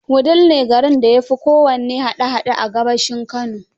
Wudil ne garin da ya fi kowanne hada hada a gabashin Kano